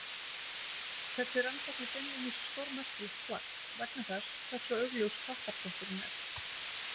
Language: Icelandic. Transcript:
Þessi rannsókn er beinlínis stórmerkilegt plagg, vegna þess hversu augljós kattarþvottur hún er.